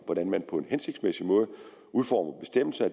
hvordan man på en hensigtsmæssig måde udformer bestemmelser